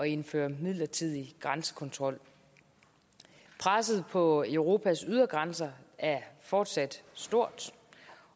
indføre en midlertidig grænsekontrol presset på europas ydre grænser er fortsat stort